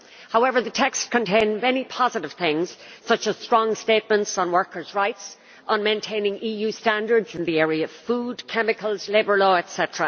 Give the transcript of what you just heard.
However, the text contained many positive things, such as strong statements on workers' rights, on maintaining EU standards in the areas of food, chemicals, labour law etc.,